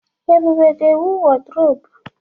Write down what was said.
Ebube ga-ewu wọrdrọpu.